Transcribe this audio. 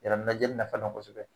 Jalaminɛ joli fana ka bon kosɛbɛ.